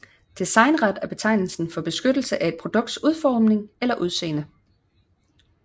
Designret er betegnelsen for beskyttelse af et produkts udforming eller udseende